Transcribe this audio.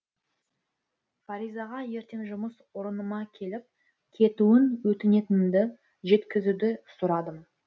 фаризаға ертең жұмыс орыныма келіп кетуін өтінетінімді жеткізуді сұрадым